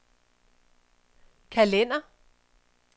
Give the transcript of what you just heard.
kalender